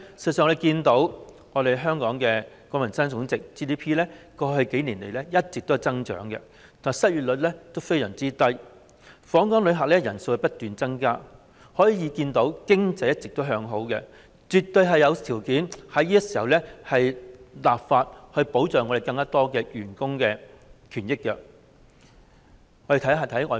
我們看到香港的國民生產總值過去數年一直有增長，失業率非常低，訪港旅客人數不斷增加，可見經濟一直向好，絕對有條件在此時立法保障更多僱員權益。